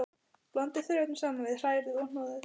Blandið þurrefnunum saman við, hrærið og hnoðið.